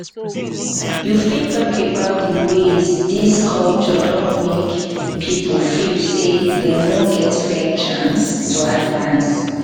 you fit talk about di ways dis culture don make people feel say dem no get fair chance to advance?